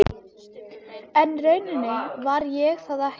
Kamí, hefur þú prófað nýja leikinn?